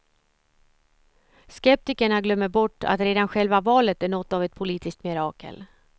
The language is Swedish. Skeptikerna glömmer bort att redan själva valet är något av ett politiskt mirakel.